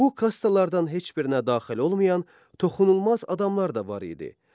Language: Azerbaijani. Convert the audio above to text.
Bu kastalardan heç birinə daxil olmayan toxunulmaz adamlar da var idi.